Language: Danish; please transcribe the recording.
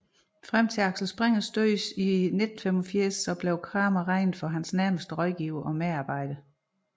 Frem til Axel Springers død i 1985 blev Cramer regnet som hans nærmeste rådgiver og medarbejder